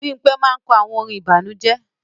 Bimpe máa n kọ àwọn orin ìbànújẹ